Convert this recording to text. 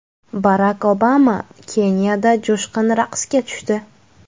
Barak Obama Keniyada jo‘shqin raqsga tushdi .